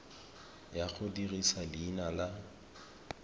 ya go dirisa leina la